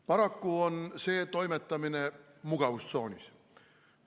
Paraku on see toimetamine mugavustsoonis.